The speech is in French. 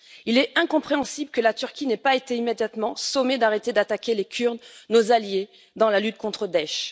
Il est incompréhensible que la Turquie n'ait pas été immédiatement sommée d'arrêter d'attaquer les Kurdes, nos alliés dans la lutte contre Daech.